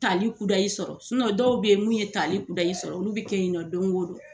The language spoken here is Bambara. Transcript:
Tali kudayi sɔrɔ, dɔw bɛ yen munu ye tali kudayi sɔrɔ, olu bɛ kɛ yen don o don.